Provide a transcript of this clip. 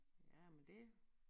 Jamen det